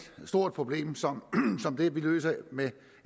problem som det vi løser med